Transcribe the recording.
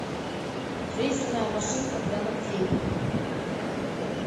фрезерная машинка для ногтей